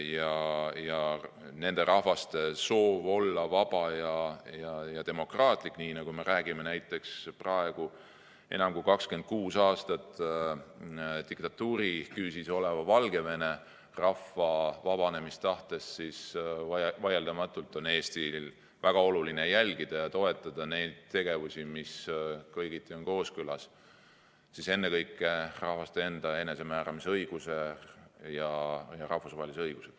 Ja kui nendel rahvastel on soov, et riik oleks vaba ja demokraatlik, nii nagu me räägime näiteks enam kui 26 aastat diktatuuri küüsis oleva Valgevene rahva vabanemistahtest, siis vaieldamatult on Eestil väga oluline jälgida ja toetada neid tegevusi, mis on kõigiti kooskõlas ennekõike rahvaste enda enesemääramise õiguse ja rahvusvahelise õigusega.